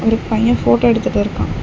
ஒரு பையன் போட்டோ எடுத்துட்டு இருக்கா.